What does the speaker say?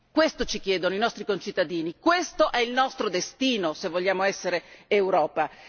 Questo ci chiedono i nostri concittadini, questo è il nostro destino se vogliamo essere Europa.